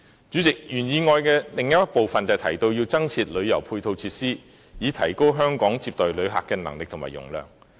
主席，原議案的另一部分提到增設旅遊配套設施，以提高香港接待旅客的能力和容量。